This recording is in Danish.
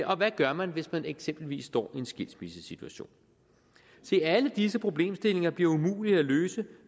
og hvad gør man hvis man eksempelvis står i en skilsmissesituation se alle disse problemstillinger bliver umulige at løse